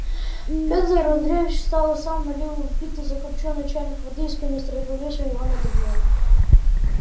петр андреевич встал сам налил в битый закопчённый чайник воды из канистры и повесил его над огнём